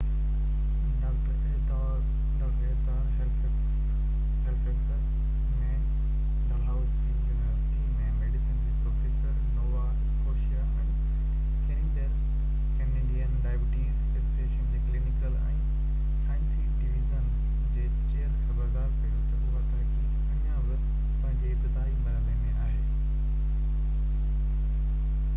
doctor Ehud Ur Halifax ۾ Dalhousie university ۾ medicine جي professor Nova Scotia ۽ Canadian diabetes association جي clinical ۽ سائنسي division جي chair خبردار ڪيو ته اها تحقيق اڃا به پنهنجي ابتدائي مرحلي ۾ آهي